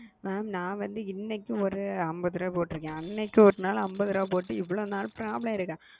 mam ந வந்து இன்னக்கி ஒரு அம்பதுரூபா போட்டு இருக்க அன்னகி ஒரு அம்பதுரூபா போட்டு இதுவரைக்கும் அகால